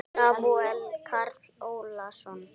Samúel Karl Ólason.